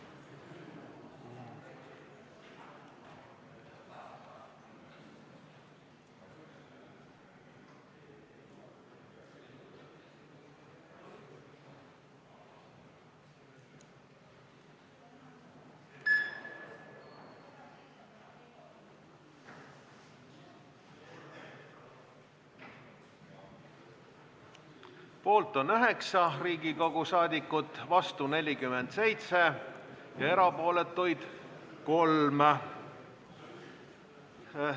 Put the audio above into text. Hääletustulemused Poolt on 9 Riigikogu liiget, vastu 47 ja erapooletuid 3.